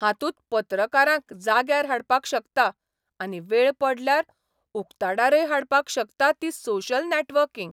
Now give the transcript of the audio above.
हातूंत पत्रकारांक जाग्यार हाडपाक शकता आनी वेळ पडल्यार उक्ताडारय हाडपाक शकता ती सोशल नॅटवर्किंग.